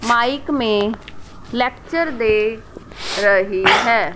Mic में lecture दे रही है।